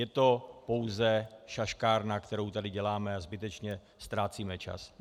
Je to pouze šaškárna, kterou tady děláme, a zbytečně ztrácíme čas.